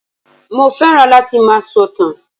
Mo fẹ́ràn láti máa sọ̀tàn